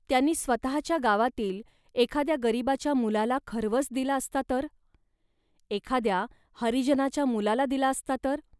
त्यांनी स्वतःच्या गावातील एखाद्या गरिबाच्या मुलाला खर्वस दिला असता तर. एखाद्या हरिजनाच्या मुलाला दिला असता तर